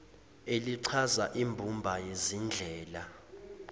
elichaza imbumba yezindlela